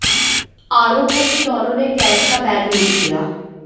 आरोप है कि दोनों ने कैश का बैग लूट लिया